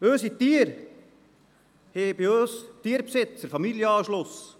Unsere Tiere haben bei uns Tierbesitzern Familienanschluss.